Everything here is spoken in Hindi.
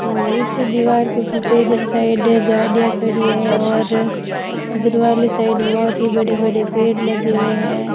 और इस दीवार के पीछे इधर साइड गाड़ियां खड़ी है और इधर वाली साइड बहुत ही बड़े बड़े पेड़ लगे हुए हैं।